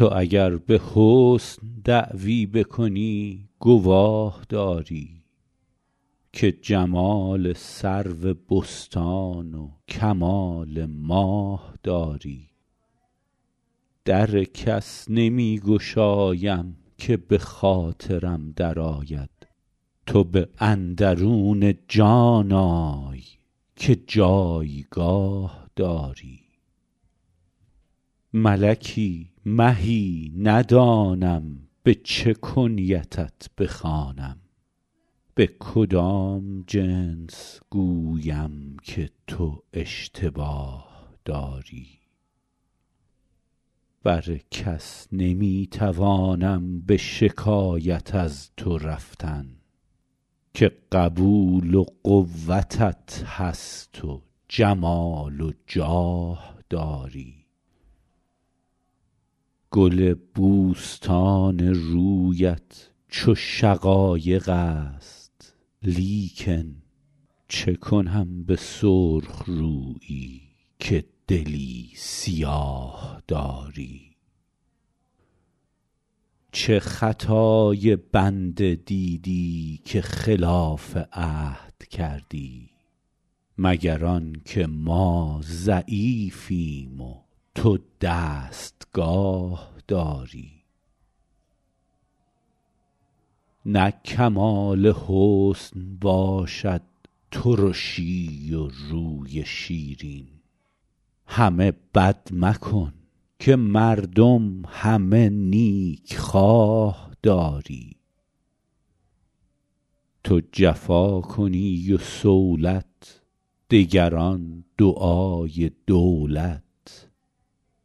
تو اگر به حسن دعوی بکنی گواه داری که جمال سرو بستان و کمال ماه داری در کس نمی گشایم که به خاطرم درآید تو به اندرون جان آی که جایگاه داری ملکی مهی ندانم به چه کنیتت بخوانم به کدام جنس گویم که تو اشتباه داری بر کس نمی توانم به شکایت از تو رفتن که قبول و قوتت هست و جمال و جاه داری گل بوستان رویت چو شقایق است لیکن چه کنم به سرخ رویی که دلی سیاه داری چه خطای بنده دیدی که خلاف عهد کردی مگر آن که ما ضعیفیم و تو دستگاه داری نه کمال حسن باشد ترشی و روی شیرین همه بد مکن که مردم همه نیکخواه داری تو جفا کنی و صولت دگران دعای دولت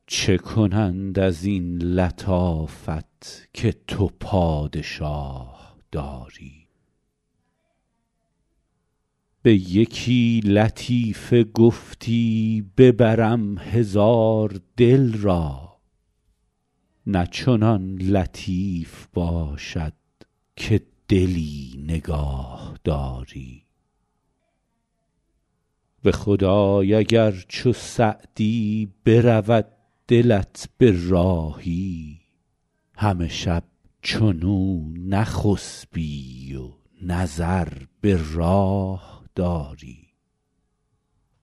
چه کنند از این لطافت که تو پادشاه داری به یکی لطیفه گفتی ببرم هزار دل را نه چنان لطیف باشد که دلی نگاه داری به خدای اگر چو سعدی برود دلت به راهی همه شب چنو نخسبی و نظر به راه داری